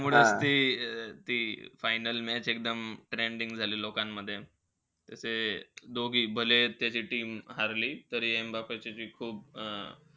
त्यामुळे ते-ते final match एकदम trending झाली लोकांमध्ये. त ते दोघी भले त्याची team हरली, तरी एम्बाप्पे चे खूप,